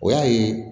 O y'a ye